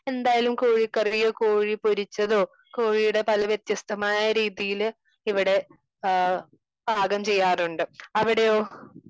എന്തായാലും കോഴിക്കറിയോ, കോഴി പൊരിച്ചതോ കോഴിയുടെ പല വ്യത്യസ്തമായ രീതിയില് ഇവിടെ പാകം ചെയ്യാറുണ്ട്. അവിടെയോ?